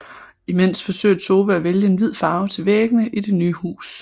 Imens forsøger Tove at vælge en hvid farve til væggene i det nye hus